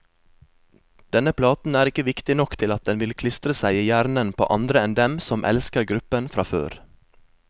Denne platen er ikke viktig nok til at den vil klistre seg i hjernen på andre enn dem som elsker gruppen fra før.